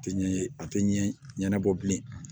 A tɛ ɲɛ a tɛ ɲɛ ɲɛnabɔ bilen